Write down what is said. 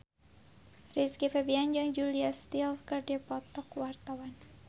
Rizky Febian jeung Julia Stiles keur dipoto ku wartawan